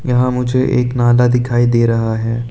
यहां मुझे एक नाला दिखाई दे रहा है।